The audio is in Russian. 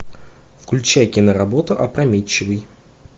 включай киноработу опрометчивый